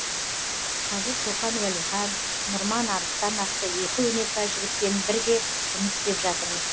қазір шоқан уәлихан нұрман арыстан атты екі өнерпаз жігітпен бірге жұмыс істеп жатырмыз